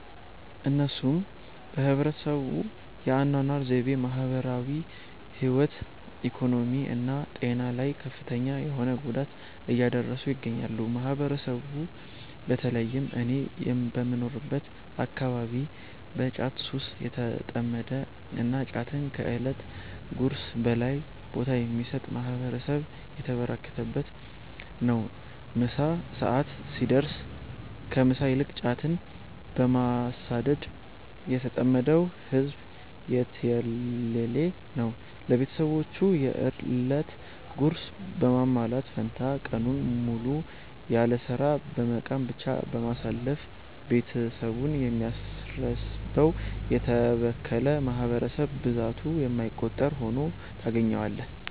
እነሱም በህብረተሰቡ የ አናኗር ዘይቤ፣ ማህበራዊ ህይወት፣ ኢኮኖሚ እና ጤና ላይ ከፍተኛ የሆነ ጉዳት እያደረሱ ይገኛሉ። ማህበረሰቡ በ ተለይም እኔ በምኖርበት አከባቢ በ ጫት ሱስ የተጠመደ እና ጫትን ከ እለት ጉርሱ በላይ ቦታ የሚሰጥ ማህበረሰብ የተበራከተበት ነው። ምሳ ሰዐት ሲደርስ ከ ምሳ ይልቅ ጫትን በማሳደድ የተጠመደው ህዝብ የትየለሌ ነው። ለቤትሰቦቹ የ እለት ጉርስ በማሟላት ፈንታ ቀኑን ሙሉ ያለስራ በመቃም ብቻ በማሳለፍ ቤትሰቡን የሚያስርበው: የተበከለ ማህበረሰብ ብዛቱ የማይቆጠር ሁኖ ታገኛዋለህ።